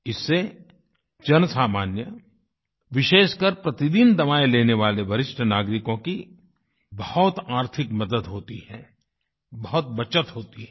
इससे जनसामान्य विशेषकर प्रतिदिन दवाएं लेने वाले वरिष्ठ नागरिकों की बहुत आर्थिक मदद होती है बहुत बचत होती है